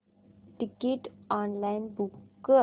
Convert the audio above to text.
ticket online book कर